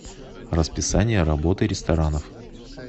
расписание работы ресторанов